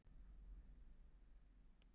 Þýska kirkjan herðir verklagsreglur